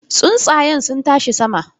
Tsuntsayen sun tashi sama.